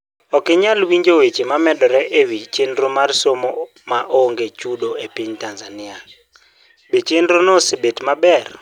Ok inyal winjo weche momedore e wi chenro mar somo ma onge chudo e piny Tanzania, be chenrono osebet maber?